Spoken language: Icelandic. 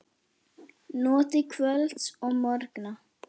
Notið kvölds og morgna.